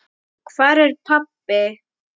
Hvar er pabbi?